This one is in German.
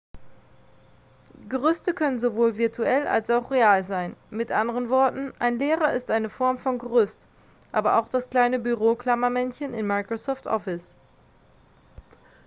gerüste können sowohl virtuell als auch real sein mit anderen worten ein lehrer ist eine form von gerüst aber auch das kleine büroklammermännchen in microsoft office